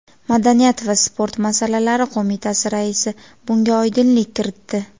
madaniyat va sport masalalari qo‘mitasi raisi bunga oydinlik kiritdi.